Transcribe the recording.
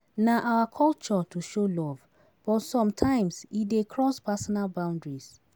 Na our culture to show love, but sometimes e dey cross personal boundaries.